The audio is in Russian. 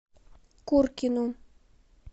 куркину